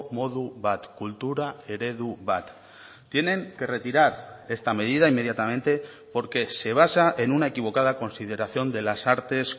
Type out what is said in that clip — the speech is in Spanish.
modu bat kultura eredu bat tienen que retirar esta medida inmediatamente porque se basa en una equivocada consideración de las artes